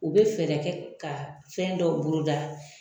U be fɛɛrɛ kɛ ka fɛn dɔw bolo da